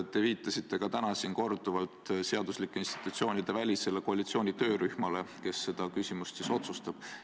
Te viitasite ka täna siin korduvalt seaduslike institutsioonide välisele koalitsiooni töörühmale, kes seda küsimust siis otsustab.